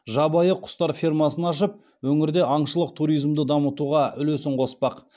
жабайы құстар фермасын ашып өңірде аңшылық туризмді дамытуға үлесін қоспақ